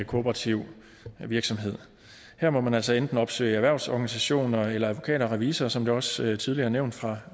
kooperativ virksomhed her må man altså enten opsøge erhvervsorganisationer eller advokater og revisorer som det også tidligere er nævnt